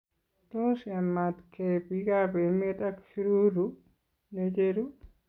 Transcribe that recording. Tos yamatkee biikab emeet ak syuruu necheru?